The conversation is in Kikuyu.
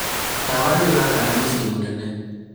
tawa nĩ ũrakana mũciĩ mũnene